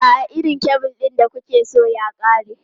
A'a, irin kebul ɗin da kuke so ya ƙare.